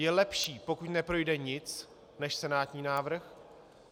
Je lepší, pokud neprojde nic než senátní návrh.